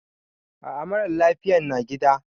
A a, mara lafiyan na gida.